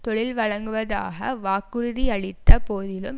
தொழில் வழங்குவதாக வாக்குறுதியளித்த போதிலும்